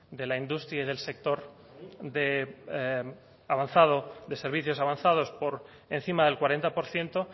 de la industria y del sector de avanzado de servicios avanzados por encima del cuarenta por ciento